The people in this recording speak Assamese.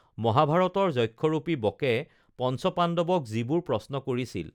মহাভাৰতৰ যক্ষৰূপী বকে পঞ্চ পাশুৱক যিবোৰ প্ৰশ্ন কৰিছিল